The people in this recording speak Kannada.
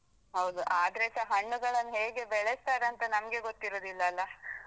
ಹೌದು ಅದ್ರೇಸ ಹಣ್ಣುಗಳನ್ನು ಹೇಗೆ ಬೆಳೆಸ್ತಾರೆಂತ ನಮ್ಗೆ ಗೊತ್ತಿರುದಿಲ್ಲಲ್ಲ.